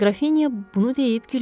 Qrafinya bunu deyib gülümsədi.